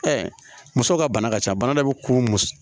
musow ka bana ka ca bana dɔ bɛ kun